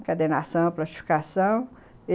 Encadenação, plastificação.